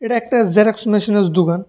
একটা জেরক্স মেশিনের দোকান।